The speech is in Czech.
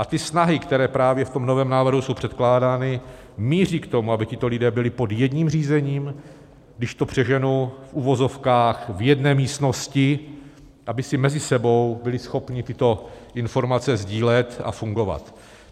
A ty snahy, které právě v tom novém návrhu jsou předkládány, míří k tomu, aby tito lidé byli pod jedním řízením, když to přeženu, v uvozovkách v jedné místnosti, aby si mezi sebou byli schopni tyto informace sdílet a fungovat.